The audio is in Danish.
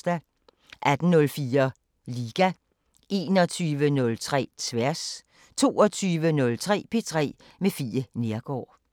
18:04: Liga 21:03: Tværs 22:03: P3 med Fie Neergaard